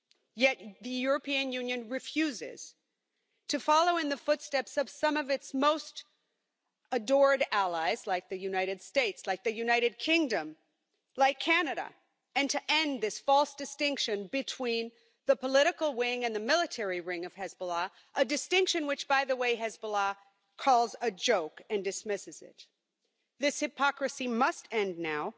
Yet the European Union refuses to follow in the footsteps of some of its most adored allies like the United States, like the United Kingdom, like Canada, and to end this false distinction between the political wing and the military wing of Hezbollah a distinction which, by the way, Hezbollah calls a joke and dismisses. This hypocrisy must end now.